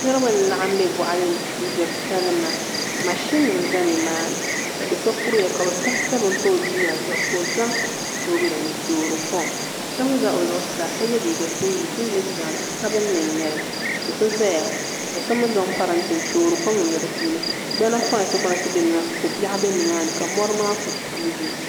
Niraba n laɣam bɛ boɣali ni n gbiri salima mashin nim ʒɛla nimaani ka do so kuriya ka bi sabi 7 pa o liiga zuɣu ka o zaŋ soobuli n toori kom so mii ʒɛ o zuɣusaa ka yɛ liiga singirɛti singirɛti zaɣ sabinli n nyɛli do so ʒɛya ka so mii zaŋ parantɛ n toori kom niŋdi di puuni gbana whait whait bɛ nimaani ko biɛɣu bɛ nimaani ka mori maa ku kuugi